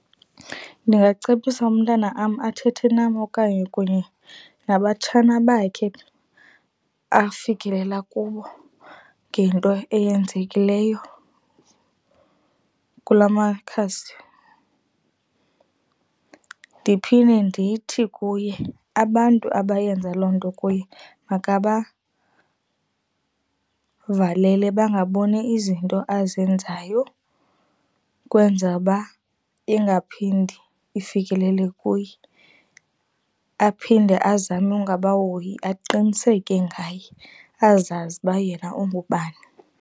Ndingacebisa umntana am athethe nam okanye kunye nabatshana bakhe afikelela kubo ngento eyenzekileyo kula makhasi. Ndiphinde ndithi kuye abantu abayenza loo nto kuye makabavalele bangaboni izinto azenzayo ukwenzele uba ingaphindi ifikelele kuye. Aphinde azame ungabahoyi, aqiniseke ngaye. Azazi uba yena ungubani.